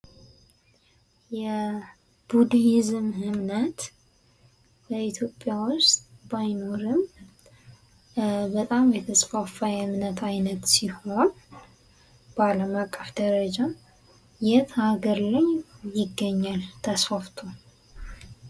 የቡዲዝም እምነት በኢትዮጵያ ውስጥ ባይኖርም በጣም የተስፋፋ የእምነት አይነት ሲሆን በአለም አቀፍ ደረጃ የት ሀገር ላይ ይገኛል ተስፋፍቶ?